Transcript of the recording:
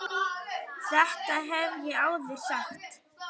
Þetta hef ég áður sagt.